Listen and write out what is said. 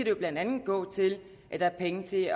jo blandt andet gå til at der er penge til